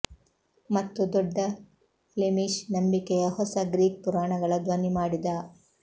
ಮತ್ತು ದೊಡ್ಡ ಫ್ಲೆಮಿಶ್ ನಂಬಿಕೆಯ ಹೊಸ ಗ್ರೀಕ್ ಪುರಾಣಗಳ ಧ್ವನಿ ಮಾಡಿದ